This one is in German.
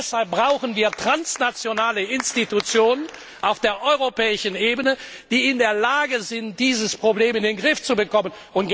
Und deshalb brauchen wir transnationale Institutionen auf der europäischen Ebene, die in der Lage sind, dieses Problem in den Griff zu bekommen.